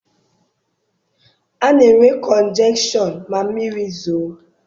A na-enwe kọnjekshọn ma mmiri zoo.